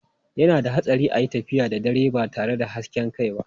Yana da hatsari a yi tafiya da dare ba tare da hasken kai ba.